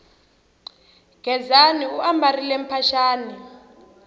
gezani u ambarile mphaxani